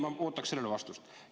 Ma ootan sellele vastust.